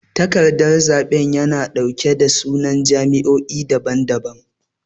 takardan zabe yana dauke da sunan jam'iyoyi dabam dabam.